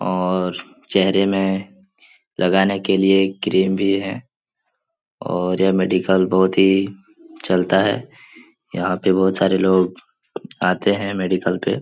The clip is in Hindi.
और चेहरे में लगाने के लिए क्रीम भी है और यह मेडिकल बहुत ही चलता है। यहाँ के बहुत सारे लोग आते हैं मेडिकल पे ।